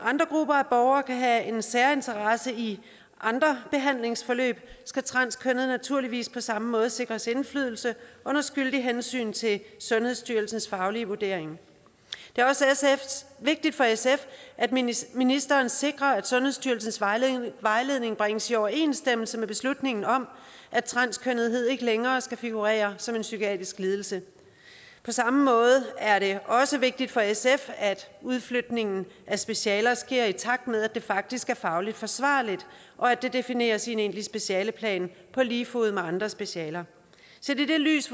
andre grupper af borgere kan have en særinteresse i andre behandlingsforløb skal transkønnede naturligvis på samme måde sikres indflydelse under skyldigt hensyn til sundhedsstyrelsens faglige vurdering det er også vigtigt for sf at ministeren sikrer at sundhedsstyrelsens vejledning vejledning bringes i overensstemmelse med beslutningen om at transkønnethed ikke længere skal figurere som en psykiatrisk lidelse på samme måde er det også vigtigt for sf at udflytningen af specialer sker i takt med at det faktisk er fagligt forsvarligt og at det defineres i en egentlig specialeplan på lige fod med andre specialer set i det lys